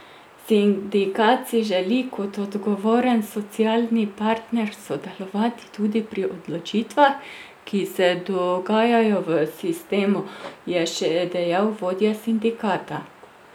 Sindikat si želi kot odgovoren socialni partner sodelovati tudi pri odločitvah, ki se dogajajo v sistemu, je še dejal vodja sindikata.